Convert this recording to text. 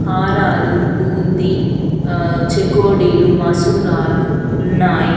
కారాలు బూందీ ఆహ్ చెకోడీలు మసూరాలు ఉన్నాయి.